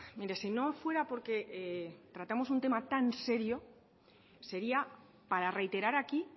mire si no fuera porque tratamos un tema tan serio sería para reiterar aquí